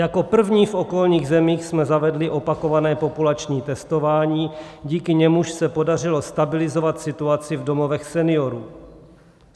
Jako první v okolních zemích jsme zavedli opakované populační testování, díky němuž se podařilo stabilizovat situaci v domovech seniorů.